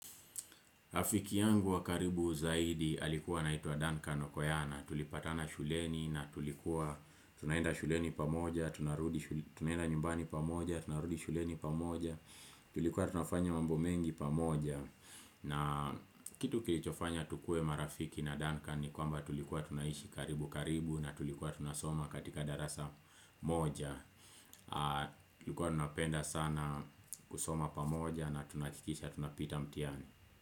Rafiki yangu wa karibu zaidi alikuwa anaitwa Duncan Okoyana. Tulipatana shuleni na tulikuwa tunaenda shuleni pamoja, tunaenda nyumbani pamoja, tunarudi shuleni pamoja, tulikuwa tunafanya mambo mengi pamoja. Na kitu kilichofanya tukue marafiki na Duncan ni kwamba tulikuwa tunaishi karibu karibu na tulikuwa tunasoma katika darasa moja. Tulikuwa tunapenda sana kusoma pamoja na tunakikisha tunapita mtiani.